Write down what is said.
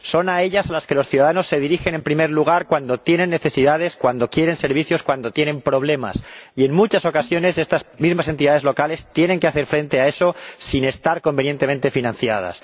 Son a ellas a las que los ciudadanos se dirigen en primer lugar cuando tienen necesidades, cuando quieren servicios, cuando tienen problemas, y en muchas ocasiones estas mismas entidades locales tienen que hacer frente a eso sin estar convenientemente financiadas.